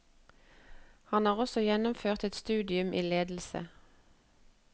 Han har også gjennomført et studium i ledelse.